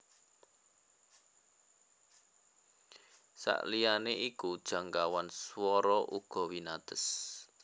Saliyané iku jangkauan swara uga winates